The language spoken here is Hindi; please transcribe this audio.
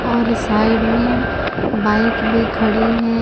और साइड में बाइक भी खड़ी है।